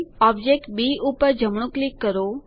object B પર જમણું click કરો